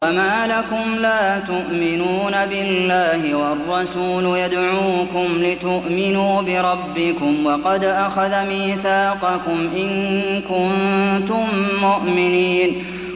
وَمَا لَكُمْ لَا تُؤْمِنُونَ بِاللَّهِ ۙ وَالرَّسُولُ يَدْعُوكُمْ لِتُؤْمِنُوا بِرَبِّكُمْ وَقَدْ أَخَذَ مِيثَاقَكُمْ إِن كُنتُم مُّؤْمِنِينَ